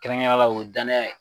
Kɛrɛnkɛrɛnlenya la o ye danaya ye.